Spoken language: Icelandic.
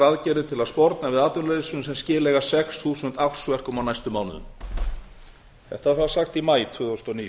aðgerðir til að sporna við atvinnuleysinu sem skilar sex þúsund ársverkum á næstu mánuðum þetta var sagt í maí tvö þúsund og níu